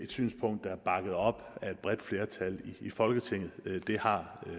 synspunkt der er bakket op af et bredt flertal i folketinget det har